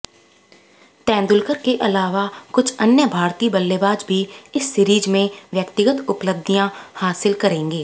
तेंदुलकर के अलावा कुछ अन्य भारतीय बल्लेबाज भी इस सीरीज में व्यक्तिगत उपलब्धियां हासिल करेंगे